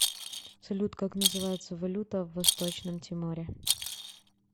салют как называется валюта в восточном тиморе